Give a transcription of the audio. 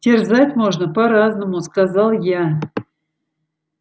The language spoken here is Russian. терзать можно по-разному сказал я